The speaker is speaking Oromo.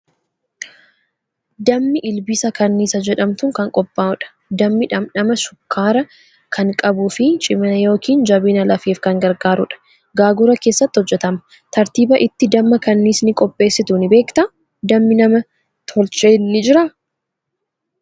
Dammi ilbiisa kanniisa jedhamtuun kan qophaa'udha. Dammi dhamdhama shukkaaraa kan qabuu fi cimina yookiin jabina lafeef kan gargaarudha. Gaagura keessatti hojjetama. Tartiiba itti damma kanniisni qopheessitu ni beektaa? Dammi nam tolcheen ni jiraa?